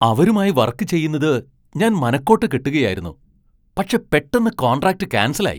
അവരുമായി വർക്ക് ചെയുന്നത് ഞാൻ മനക്കോട്ട കെട്ടുകയായിരുന്നു, പക്ഷെ പെട്ടെന്ന് കോൺട്രാക്ട് കാൻസൽ ആയി .